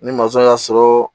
Ni y'a sɔrɔ